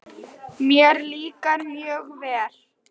Mér líkar mjög vel.